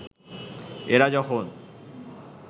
এরা যখন